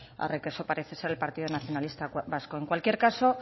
arre que so parece ser el partido nacionalista vasco en cualquier caso